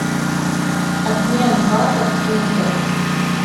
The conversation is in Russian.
обмен батов в фунтах